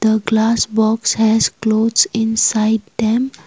the glass box has clothes inside them.